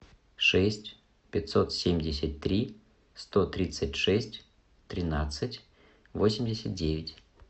шесть пятьсот семьдесят три сто тридцать шесть тринадцать восемьдесят девять